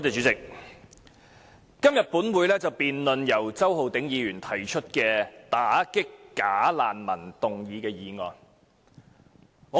主席，本會今天辯論由周浩鼎議員提出的"打擊'假難民'"議案。